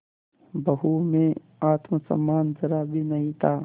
बहू में आत्म सम्मान जरा भी नहीं था